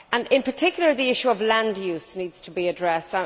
In particular the issue of land use needs to be addressed.